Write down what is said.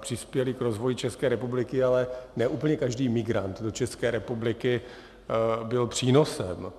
přispěli k rozvoji České republiky, ale ne úplně každý migrant do České republiky byl přínosem.